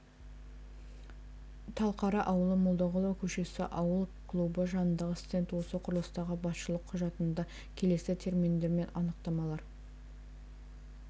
талқара ауылы молдағұлова көшесі ауыл клубы жанындағы стенд осы құрылыстағы басшылық құжатында келесі терминдер және анықтамалар